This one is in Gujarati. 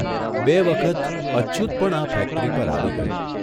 બે વખત અચ્યુત પણ આ ફેક્ટરી પર આવી ગયો.